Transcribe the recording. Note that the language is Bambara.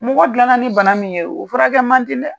Mɔgɔ dilan na ni bana min ye o furakɛ man di dɛ.